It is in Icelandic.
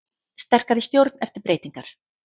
Sterkari stjórn eftir breytingar